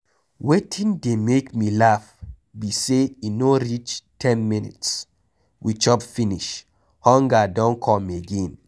Wetin dey make me laugh be say e no reach ten minutes we chop finish, hunger don come again.